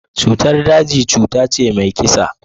Cutar daji tana cutace mai kisa.